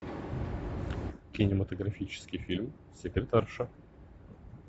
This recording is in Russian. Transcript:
кинематографический фильм секретарша